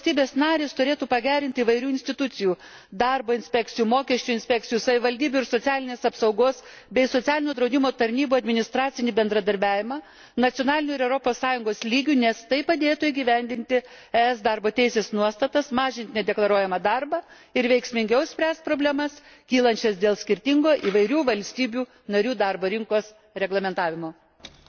Taip pat manau, jog valstybės narės turėtų pagerinti įvairių institucijų darbo inspekcijų, mokesčių inspekcijų, savivaldybių ir socialinės apsaugos bei socialinio draudimo tarnybų administracinį bendradarbiavimą nacionaliniu ir Europos Sąjungos lygiu, nes tai padėtų įgyvendinti ES darbo teisės nuostatas, mažinti nedeklaruojamą darbą ir veiksmingiau spręsti problemas, kylančias dėl skirtingo įvairių valstybių narių darbo rinkos reglamentavimo.